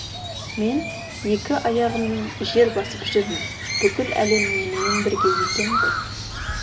мен екі аяғыен жер басып жүрмін бүкіл әлем менімен бірге екен ғой